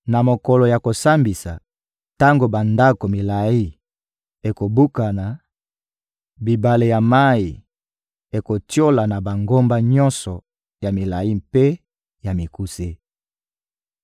Na mokolo ya kosambisa, tango bandako milayi ekobukana, bibale ya mayi ekotiola na bangomba nyonso ya milayi mpe ya mikuse.